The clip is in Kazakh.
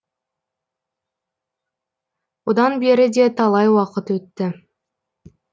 одан бері де талай уақыт өтті